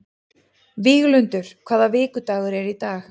Víglundur, hvaða vikudagur er í dag?